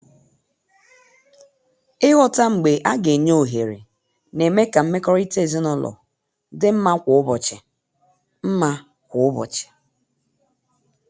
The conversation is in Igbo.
Ịghọta mgbe a ga-enye ohere na-eme ka mmekọrịta ezinụlọ dị mma kwa ụbọchị. mma kwa ụbọchị.